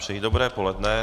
Přeji dobré poledne.